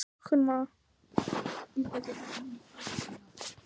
Tók við góðu búi